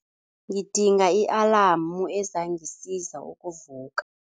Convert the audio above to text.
Ngidinga i-alamu ezangisiza ukuvuka.